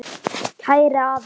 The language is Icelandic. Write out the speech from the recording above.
Kæri afi.